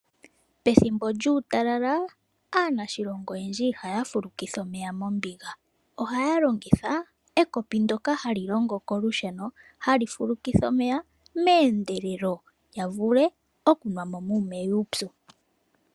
Pethimbo lyuutalala, aanashilonga oyendji ihaya fulukitha omeya mombiga. Ohaya longitha ekopi ndoka hali longo kolusheno, hali fulukitha omeya meendelelo, ya vule okunwamo muumeya uupyu.